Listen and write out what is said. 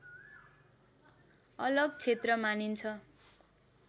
अलग क्षेत्र मानिन्छ